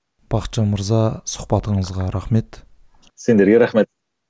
бақытжан мырза сұхбатыңызға рахмет сендерге рахмет